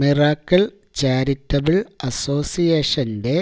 miracle charitable അസോസിയേഷന്റെ